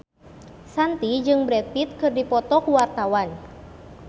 Shanti jeung Brad Pitt keur dipoto ku wartawan